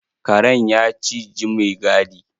Karen ya ciji maigadi.